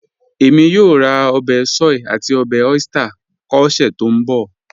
Ẹ̀mí yóò rá obè soy àti obè oyster kọ́ ọ̀sẹ̀ tó nbọ̀.